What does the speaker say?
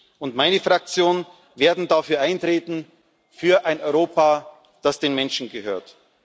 Ich und meine Fraktion werden dafür eintreten, für ein Europa, das den Menschen gehört.